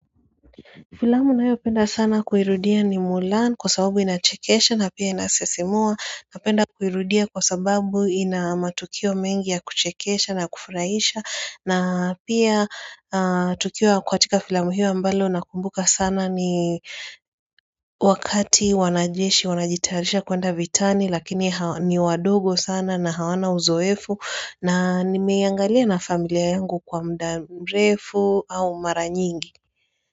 Filamu ninayopenda sana kuirudia ni Mulan kwa sababu inachekesha na pia inasisimua napenda kuirudia kwa sababu inamatukio mengi ya kuchekesha na kufurahisha na pia tukio katika filamu hiyo ambalo nakumbuka sana ni wakati wanajeshi wanajitayarisha kwenda vitani lakini ni wadogo sana na hawana uzoefu na nimeiangalia na familia yangu kwa muda mrefu au mara nyingi.